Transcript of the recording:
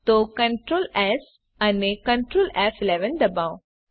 તો CtrlS અને Ctrl F દબાવો